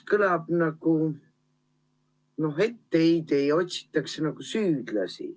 Kõlab nagu etteheide ja otsitakse süüdlasi.